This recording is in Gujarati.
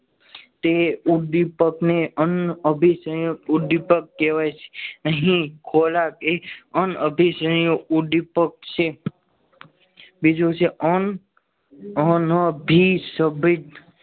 તે ઉદ્દીપક ને અન્ન અભી અન્ન ઉદ્દીપક કહેવાય છે અહીં ખોરાક એ અન્ન અભિસંયોગ ઉદ્દીપક છે બીજું છે.